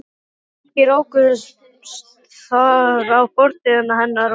Kannski rákust þar á fortíð hennar og nútíð.